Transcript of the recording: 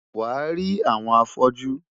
Wàá rí àwọn afọ́jú.